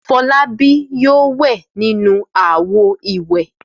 Fọlábí yóò wẹ̀ nínú àwo-ìwẹ̀!